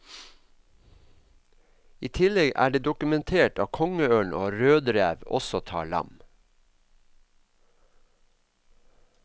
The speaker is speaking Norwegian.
I tillegg er det dokumentert at kongeørn og rødrev også tar lam.